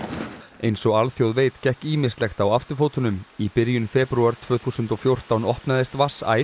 eins og alþjóð veit gekk ýmislegt á afturfótunum í byrjun febrúar tvö þúsund og fjórtán opnaðist vatnsæð